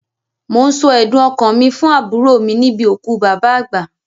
Mò ń sọ ẹ̀dùn ọkàn mi fún àbúrò níbi òkú bàbá àgbà.